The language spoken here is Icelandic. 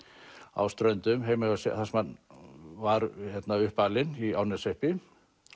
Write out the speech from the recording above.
á Ströndum þar sem hann var uppalinn í Árneshreppi